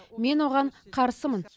мен оған қарсымын